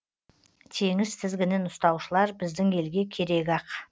теңіз тізгінін ұстаушылар біздің елге керек ақ